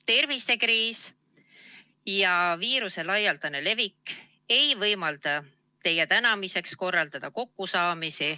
Tervisekriis ja viiruse laialdane levik ei võimalda teie tänamiseks korraldada kokkusaamisi.